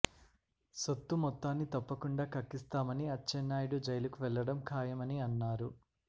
సొత్తు మొత్తాని తప్పకుండా కక్కిస్తామని అచ్చెన్నాయుడు జైలుకు వెళ్ళడం ఖాయమని అన్నారు